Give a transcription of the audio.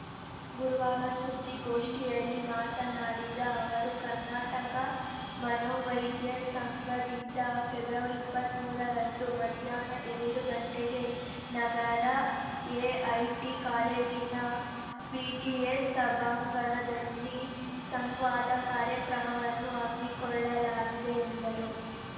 ಗುರುವಾರ ಸುದ್ದಿಗೋಷ್ಠಿಯಲ್ಲಿ ಮಾತನಾಡಿದ ಅವರು ಕರ್ನಾಟಕ ಮನೋವೈದ್ಯ ಸಂಘದಿಂದ ಫೆಬ್ರವರಿ ಇಪ್ಪತ್ತ್ ಮೂರರಂದು ಮಧ್ಯಾಹ್ನ ಎರಡು ಗಂಟೆಗೆ ನಗರದ ಎಐಟಿ ಕಾಲೇಜಿನ ಬಿಜಿಎಸ್‌ ಸಭಾಂಗಣದಲ್ಲಿ ಸಂವಾದ ಕಾರ್ಯಕ್ರಮವನ್ನು ಹಮ್ಮಿಕೊಳ್ಳಲಾಗಿದೆ ಎಂದರು